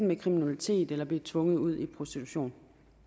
med kriminalitet eller blive tvunget ud i prostitution